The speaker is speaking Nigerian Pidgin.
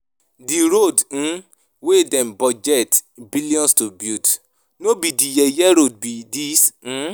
The road um wey dem budget billions to build, no be the yeye road be dis um